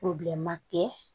kɛ